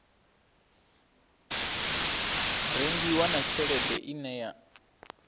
rengiwa na tshelede ine ya